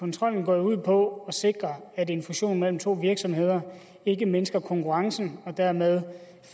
kontrollen går jo ud på at sikre at en fusion mellem to virksomheder ikke mindsker konkurrencen og dermed